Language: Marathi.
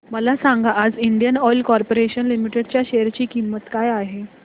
मला सांगा आज इंडियन ऑइल कॉर्पोरेशन लिमिटेड च्या शेअर ची किंमत काय आहे